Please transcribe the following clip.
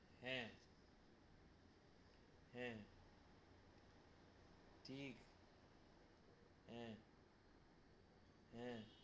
হ্যা, হ্যা, ঠিক হ্যা, হ্যা,